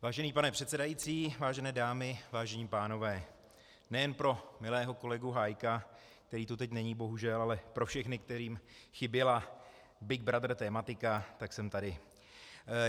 Vážený pane předsedající, vážené dámy, vážení pánové, nejen pro milého kolegu Hájka, který tu teď není bohužel, ale pro všechny, kterým chyběla Big Brother tematika, tak jsem tady.